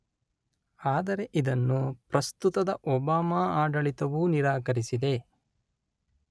ಆದರೆ ಇದನ್ನು ಪ್ರಸ್ತುತದ ಒಬಾಮ ಆಡಳಿತವು ನಿರಾಕರಿಸಿದೆ.